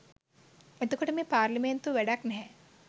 එතකොට මේ පාර්ලිමේන්තුව වැඩක් නැහැ